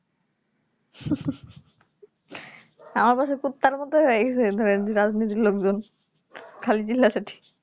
আমার বাসার কুত্তার মতোই হয়ে গেছে ধরেন রাজনীতির লোকজন খালি চিল্লাতে থাকে